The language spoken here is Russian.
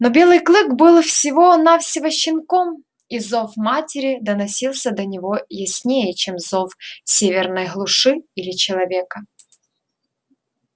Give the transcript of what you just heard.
но белый клык был всего навсего щенком и зов матери доносился до него яснее чем зов северной глуши или человека